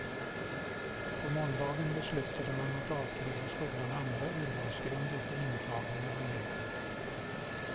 På måndagen beslutade man att avkräva skolan andra urvalsgrunder för intagning av elever.